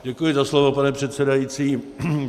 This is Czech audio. Děkuji za slovo, pane předsedající.